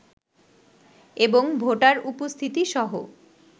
এবং ভোটার উপস্থিতিসহ